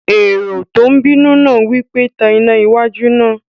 Èrò tó bínú náà wí pé, "Tan iná wájú náà!"